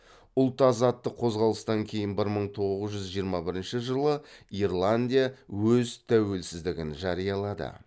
ұлт азаттық қозғалыстан кейін бір мың тоғыз жүз жиырма бірінші жылы ирландия өз тәуелсіздігін жариялады